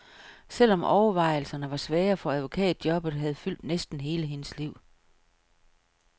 Selvom overvejelserne var svære, for advokatjobbet havde fyldt næsten hele hendes liv.